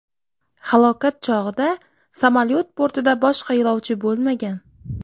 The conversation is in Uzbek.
Halokat chog‘ida samolyot bortida boshqa yo‘lovchi bo‘lmagan.